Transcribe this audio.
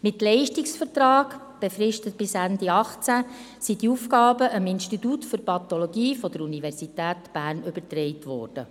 Mit einem Leistungsvertrag, befristet bis Ende 2018, sind die Aufgaben dem Institut für Pathologie der Universität Bern übertragen worden.